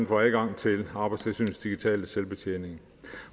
får adgang til arbejdstilsynets digitale selvbetjening